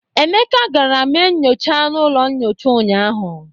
Emeka gara mee nnyocha n'ụlọ nnyocha unyaahụ.